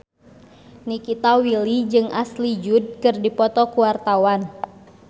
Nikita Willy jeung Ashley Judd keur dipoto ku wartawan